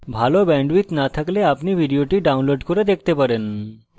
ভাল bandwidth না থাকলে আপনি ভিডিওটি download করে দেখতে পারেন